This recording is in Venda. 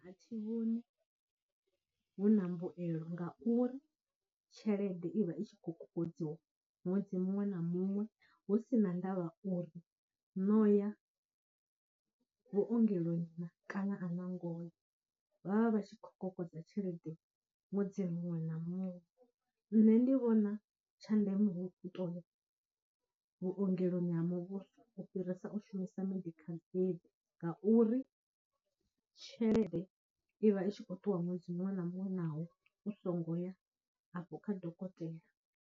A thi vhoni hu na mbuyelo ngauri tshelede i vha i tshi khou kokodziwa ṅwedzi muṅwe na muṅwe hu si na ndavha uri no ya vhuongeloni na, kana a na ngo ya vha vha vha tshi khou kokodza tshelede ṅwedzi a muṅwe na muṅwe, nne ndi vhona tsha ndeme hu u tou ya vhuongeloni ha muvhuso u fhirisa u shumisa medical aid ngauri, tshelede i vha i tshi khou ṱuwa ṅwedzi muṅwe na muṅwe naho u songo ya afho kha dokotela.